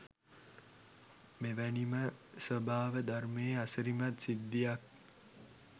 මෙ වැනි ම ස්වභාව ධර්මයේ අසිරිමත් සිද්ධියක්